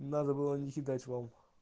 надо было не кидать вам